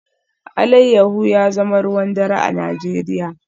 Alayyahu ya zama ruwan dare a Najeriya